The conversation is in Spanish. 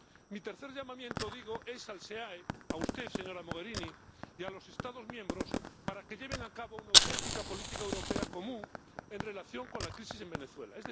Mi tercer llamamiento es al SEAE, a usted, señora Mogherini, y a los Estados miembros para que lleven a cabo una auténtica política europea común en relación con la crisis en Venezuela.